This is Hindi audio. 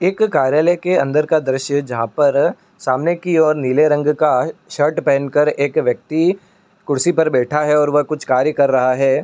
एक कार्यालय के अंदर का दृश्य जहां पर सामने की और नीले रंग का शर्ट पहनकर एक व्यक्ति कुर्सी पर बैठा हैऔर वह कुछ कार्य कर रहा है।